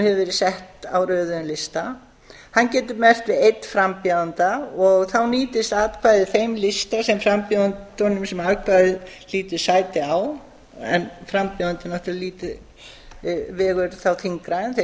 verið sett á röðuðum lista hann getur merkt við einn frambjóðanda og þá nýtist atkvæðið þeim lista sem frambjóðendum sem atkvæðið hlýtur sæti á en frambjóðandinn náttúrlega vegur þá þyngra en þeir